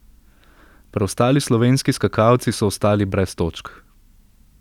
Preostali slovenski skakalci so ostali brez točk.